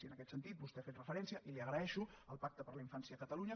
i en aquest sentit vostè ha fet referència i li ho agraeixo al pacte per a la infància a catalunya